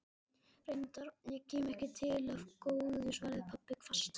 Reyndar, og kemur ekki til af góðu, svaraði pabbi hvasst.